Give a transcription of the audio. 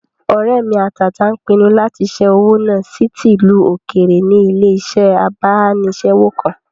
Ọ̀rẹ́ mi àtàtà n pinnu lati ṣẹ́ owó náà sí ti ìlú òkèèrè ní ilé-iṣẹ́ abánisẹ́wò kan